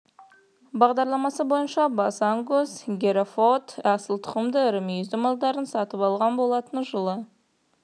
бағдарламасы бойынша бас ангус және герефорд асыл тұқымды ірі мүйізді малдарын сатып алған болатын жылы